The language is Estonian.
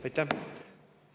Aitäh!